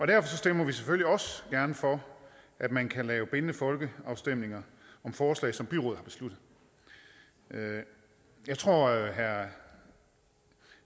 derfor stemmer vi selvfølgelig også gerne for at man kan lave bindende folkeafstemninger om forslag som byråd har besluttet jeg tror at herre